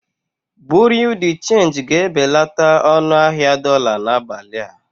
Bureau de change ga-ebelata ọnụ ahịa dolá n'abalị a.